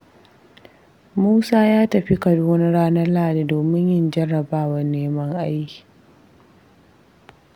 Musa ya tafi Kaduna ranar Lahadi domin yin jarrabawar neman aiki.